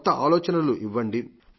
కొక్క ఆలోచనలు ఇవ్వండి